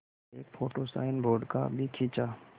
एक photo signboard का भी खींचा